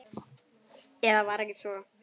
Eða var ekki svo?